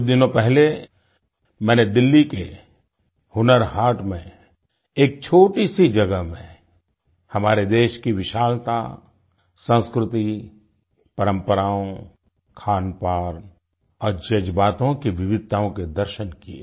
कुछ दिनों पहले मैंने दिल्ली के हुनर हाट में एक छोटी सी जगह में हमारे देश की विशालता संस्कृति परम्पराओं खानपान और जज्बातों की विविधताओं के दर्शन किये